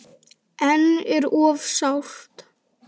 En er of sárt.